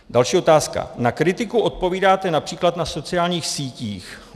Další otázka: Na kritiku odpovídáte například na sociálních sítích.